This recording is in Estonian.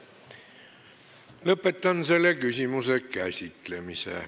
Lõpetan selle küsimuse käsitlemise.